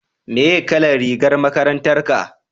meye kalan rigar makarantar ka?